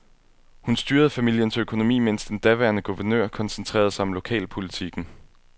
Hun styrede familiens økonomi, mens den daværende guvernør koncentrerede sig om lokalpolitikken.